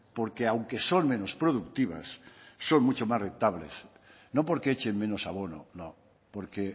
porque aunque son menos productivas son mucho más rentables no porque echen menos abono no porque